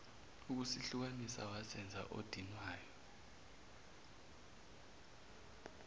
ukusihlukanisa wazenza odinwayo